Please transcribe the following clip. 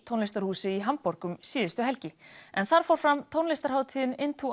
tónlistarhúsi í Hamborg um síðustu helgi en þar fór fram tónlistarhátíðin